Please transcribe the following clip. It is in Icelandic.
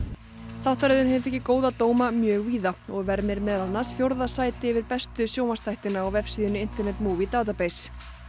þáttaröðin hefur fengið góða dóma mjög víða og vermir meðal annars fjórða sæti yfir bestu sjónvarpsþættina á vefsíðunni internet database